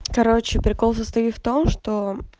короче прикол состоит в том что